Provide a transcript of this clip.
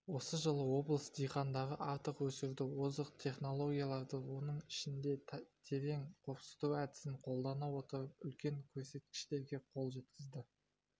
осы жылы облыс диқандары астық өсіруде озық технологияларды оның ішінде терең қопсыту әдісін қолдана отырып үлкен көрсеткіштерге қол жеткізді